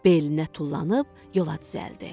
Belinə tullanıb yola düzəldi.